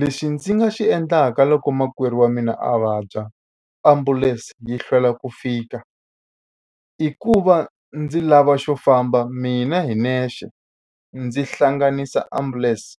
Lexi ndzi nga xi endlaka loko makwerhu wa mina a vabya ambulense yi hlwela ku fika i ku va ndzi lava xo famba mina hi nexe ndzi hlanganisa ambulense